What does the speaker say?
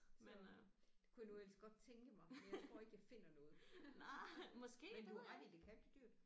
Så det kunne jeg nu ellers godt tænke mig men jeg tror ikke jeg finder noget. Men du har ret i det kan blive dyrt